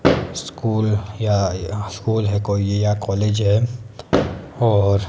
school या school है कोई ये या कॉलेज है और--